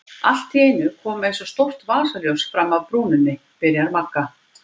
Allt í einu kom eins og stórt vasaljós fram af brúninni, byrjar Magga.